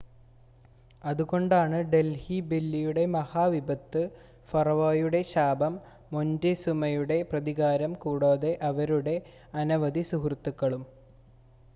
അതുകൊണ്ടാണ് ഡൽഹി ബെല്ലിയുടെ മഹാവിപത്ത് ഫറോവയുടെ ശാപം മൊൻറ്റെസൂമയുടെ പ്രതികാരം കൂടാതെ അവരുടെ അനവധി സുഹൃത്തുക്കളും